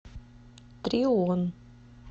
трион